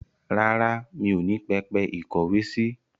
Rárá, mi ò ní pẹpẹ ìkówèésí.